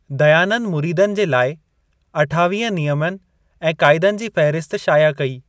दयानंद मुरीदनि जे लाइ अठावीह नियमनि ऐं क़ाइदनि जी फ़हिरिस्तु शाया कई।